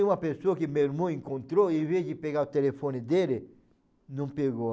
Tem uma pessoa que meu irmão encontrou e ao invés de pegar o telefone dele, não pegou.